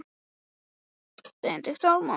Áherslan var á útvalningu einnar þjóðar.